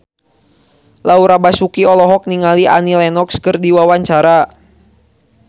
Laura Basuki olohok ningali Annie Lenox keur diwawancara